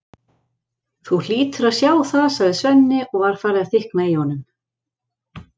Þú hlýtur að sjá það, sagði Svenni og var farið að þykkna í honum.